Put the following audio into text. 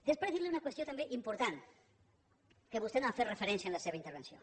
després dir li una qüestió també important a la qual vostè no ha fet referència en la seva intervenció